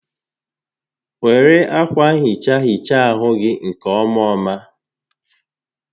Were akwa nhicha hichaa ahụ gị nke ọmaoma